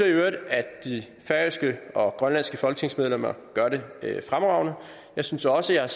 i øvrigt at de færøske og grønlandske folketingsmedlemmer gør det fremragende jeg synes også jeg